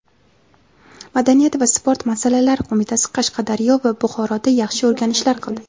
madaniyat va sport masalalari qo‘mitasi] Qashqadaryo va Buxoroda yaxshi o‘rganishlar qildi.